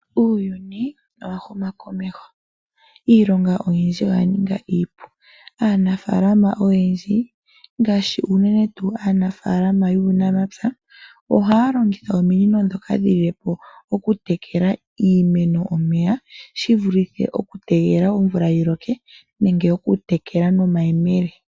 Uuyuni owa huma komeho . Iilonga oyindji oya ninga iipu. Aanafaalama oyendji ngaashi uunene tuu aanafaalama yuunamapya ohaa longitha ominino ndhoka dhilile po okutekela iimeno omeya, shivulithe okutegelela omvula yiloke. Nenge okutekela nomayemele.